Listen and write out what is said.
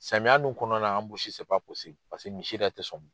Samiya dun kɔnɔna na anbusi paseke misi yɛrɛ tɛ sɔn.